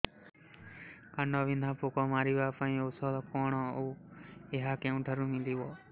କାଣ୍ଡବିନ୍ଧା ପୋକ ମାରିବା ପାଇଁ ଔଷଧ କଣ ଓ ଏହା କେଉଁଠାରୁ ମିଳିବ